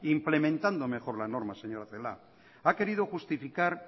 implementando mejor la norma señora celaá ha querido justificar